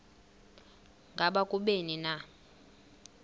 ngaba kubleni na